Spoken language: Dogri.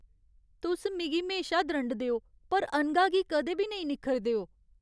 तुस मिगी म्हेशा द्रंडदे ओ, पर अनघा गी कदें बी नेईं निक्खरदे ओ?